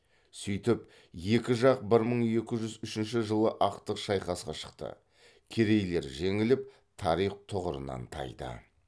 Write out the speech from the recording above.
сөйтіп екі жақ бір мың екі жүз үшінші жылы ақтық шайқасқа шықты керейлер жеңіліп тарих тұғырынан тайды